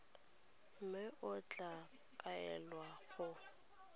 mme o tla kaelwa go